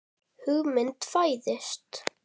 Hugmynd fæðist.